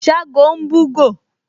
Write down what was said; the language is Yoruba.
Ṣágo ń búgò